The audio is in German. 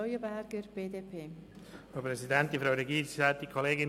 Leuenberger spricht nun für die BDP.